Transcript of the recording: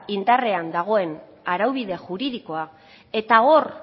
indarrean dagoen araubide juridikoa eta hor